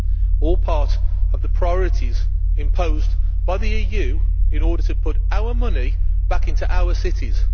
This is all part of the priorities imposed by the EU in order to put our money back into our cities.